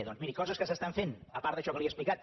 doncs miri coses que s’estan fent apart d’això que li he explicat